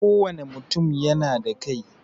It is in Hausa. Kowane mutum yana da kai.